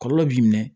Kɔlɔlɔ b'i minɛ